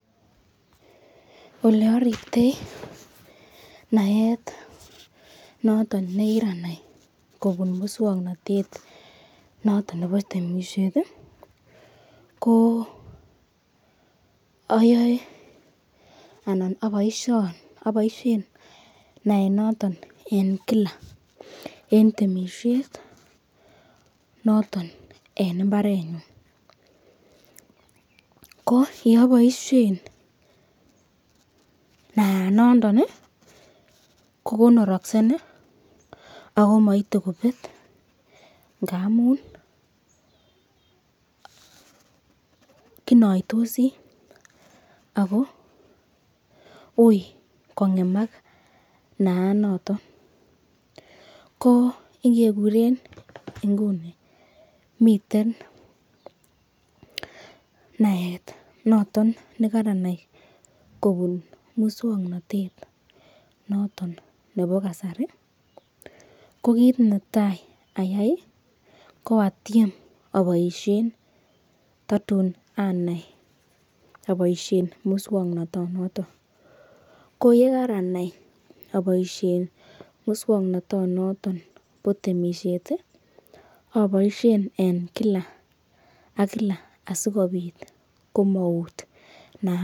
Ole ariptoi naet noton nekiranai kobun muswongnotet noton nebo temisiet ko ayoe anan aboishen naet noton en kila en temisiet noton en mbarenyun ko yeaboishen naat noton kokonoroksen ako maite kobet ngamun kinaitosi ako ui kongemak naat noton ko ingekuren nguni miten naet noton nikaranai kobun muswongnotet noton nebo kasari ko kiit netai ayai ko atiem aboishen Tatum anai aboishe muswongnoto noton ko yekaranai aboishe muswongnotonoton bo temishet aboishen kila ak kila asikobit komaut.